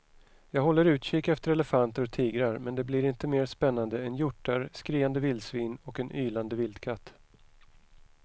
Jag håller utkik efter elefanter och tigrar men det blir inte mer spännande än hjortar, skriande vildsvin och en ylande vildkatt.